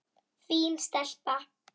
Fín stelpa.